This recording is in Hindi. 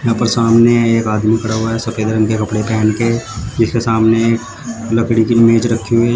यहां पर सामने एक आदमी खड़ा हुआ है सफेद रंग के कपड़े पहन के जिसके के सामने एक लकड़ी की मेज रखी हुई --